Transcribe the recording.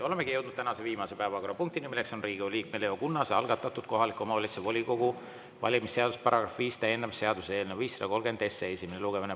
Olemegi jõudnud tänase viimase päevakorrapunktini, mis on Riigikogu liikme Leo Kunnase algatatud kohaliku omavalitsuse volikogu valimise seaduse § 5 täiendamise seaduse eelnõu 530 esimene lugemine.